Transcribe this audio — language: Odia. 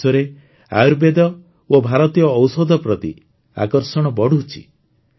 ସାରା ବିଶ୍ୱରେ ଆୟୁର୍ବେଦ ଓ ଭାରତୀୟ ଔଷଧ ପ୍ରତି ଆକର୍ଷଣ ବଢ଼ୁଛି